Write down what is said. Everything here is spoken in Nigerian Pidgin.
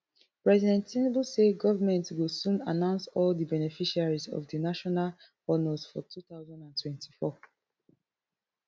president tinubu say government go soon announce all di beneficiaries of di national honours for two thousand and twenty-four